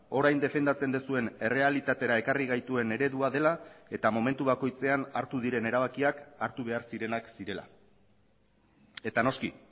orain defendatzen duzuen errealitatera ekarri gaituen eredua dela eta momentu bakoitzean hartu diren erabakiak hartu behar zirenak zirela eta noski